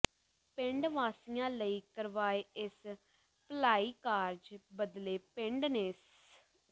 ਪਿੰਡ ਵਾਸੀਆਂ ਲਈ ਕਰਵਾਏ ਇਸ ਭਲਾਈ ਕਾਰਜ ਬਦਲੇ ਪਿੰਡ ਨੇ ਸ